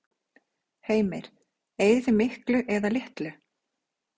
Heimir: Eyðið þið miklu eða litlu?